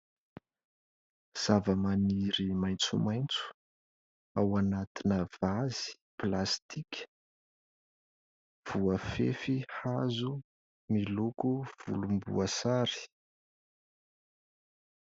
Zava-maniry maitsomaitso ao anatina vazy plastika, voafefy hazo miloko volomboasary.